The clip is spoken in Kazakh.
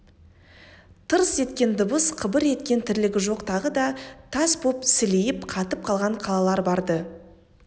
тырс еткен дыбыс қыбыр еткен тірлігі жоқ тағы да тас боп сілейіп қатып қалған қалалар бар-ды